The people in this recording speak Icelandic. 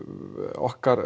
okkar